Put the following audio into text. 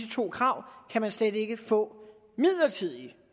to krav skal man slet ikke kunne få midlertidig